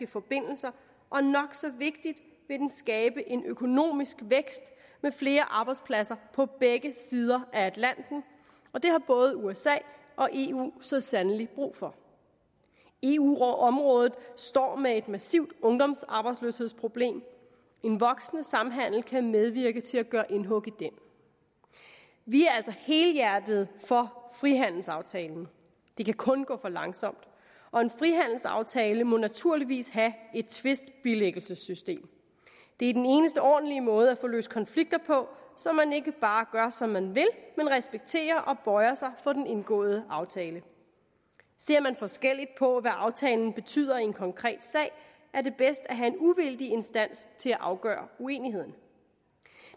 forbindelser og nok så vigtigt vil den skabe en økonomisk vækst med flere arbejdspladser på begge sider af atlanten og det har både usa og eu så sandelig brug for eu området står med et massivt ungdomsarbejdsløshedsproblem en voksende samhandel kan medvirke til at gøre indhug i den vi er altså helhjertet for frihandelsaftalen det kan kun gå for langsomt og en frihandelsaftale må naturligvis have et tvistbilæggelsessystem det er den eneste ordentlige måde at få løst konflikter på så man ikke bare gør som man vil men respekterer og bøjer sig for den indgåede aftale ser man forskelligt på hvad aftalen betyder i en konkret sag er det bedst at have en uvildig instans til at afgøre uenigheden